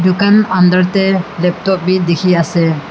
Tugan under tey laptop beh dekhe ase.